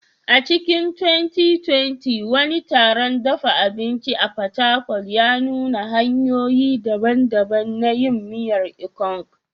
A cikin 2020, wani taron dafa abinci a Fatakwal ya nuna hanyoyi daban-daban na yin miyar Ikong.